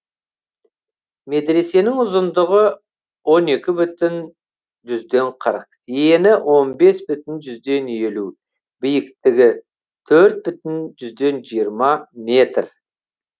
медресенің ұзындығы он екі бүтін жүзден қырық ені он бес бүтін жүзден елу биіктігі төрт бүтін жүзден жиырма метр